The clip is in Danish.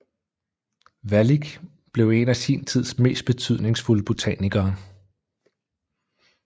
Wallich blev en af sin tids mest betydningsfulde botanikere